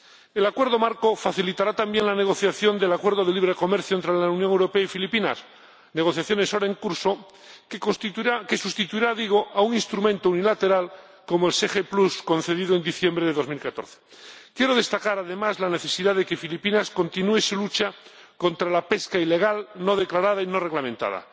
El acuerdo marco facilitará también la negociación del acuerdo de libre comercio entre la Unión Europea y Filipinas —negociaciones ahora en curso—, que sustituirá a un instrumento unilateral como el SPG concedido en diciembre de 2014. Quiero destacar, además, la necesidad de que Filipinas continúe su lucha contra la pesca ilegal no declarada y no reglamentada.